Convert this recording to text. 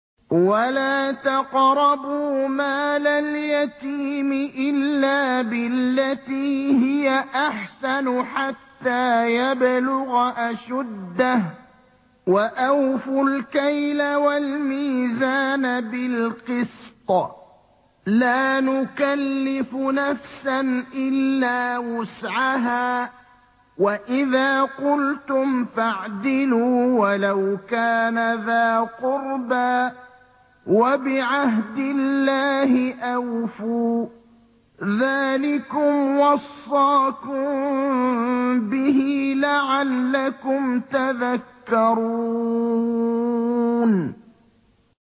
وَلَا تَقْرَبُوا مَالَ الْيَتِيمِ إِلَّا بِالَّتِي هِيَ أَحْسَنُ حَتَّىٰ يَبْلُغَ أَشُدَّهُ ۖ وَأَوْفُوا الْكَيْلَ وَالْمِيزَانَ بِالْقِسْطِ ۖ لَا نُكَلِّفُ نَفْسًا إِلَّا وُسْعَهَا ۖ وَإِذَا قُلْتُمْ فَاعْدِلُوا وَلَوْ كَانَ ذَا قُرْبَىٰ ۖ وَبِعَهْدِ اللَّهِ أَوْفُوا ۚ ذَٰلِكُمْ وَصَّاكُم بِهِ لَعَلَّكُمْ تَذَكَّرُونَ